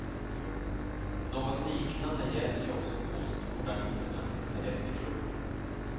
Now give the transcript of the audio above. Något liknande gäller ju också postmodernismen per definition.